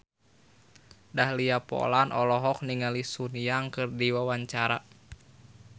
Dahlia Poland olohok ningali Sun Yang keur diwawancara